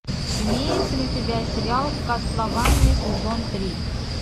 имептся ли у тебя сериал кастлавания сезон три